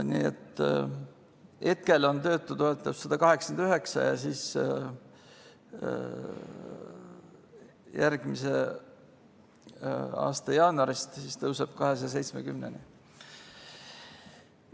Nii et hetkel on töötutoetus 189 ja järgmise aasta jaanuarist tõuseb 270-ni.